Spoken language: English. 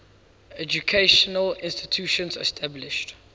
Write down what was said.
educational institutions established